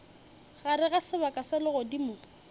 gare ga sebaka sa legodimo